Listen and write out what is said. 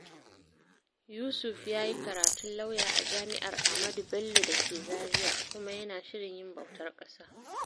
Yusuf ya yi karatun lauya a Jami'ar Ahmadu Bello da ke Zaria kuma yana shirin yin bautar ƙasa.